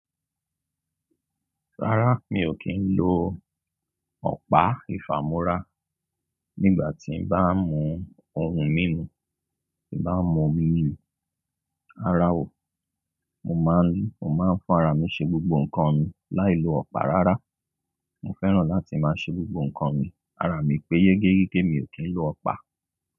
Rárá, mi ò kí ń lo ọ̀pá ìfàmọ́ra nígbà tí n bá ń mú omi mímu, tí n bá ń mu omi mímu. Rárá o, mo máa ń, mo máa ń fúnarà mi ṣe gbogbo nǹkan mi láì lo ọ̀pá rárá. Mo fẹ́ràn láti máa ṣe gbogbo nǹkan mi ara mi pé yégéyégé, mi ò kì ń lo ọ̀pá.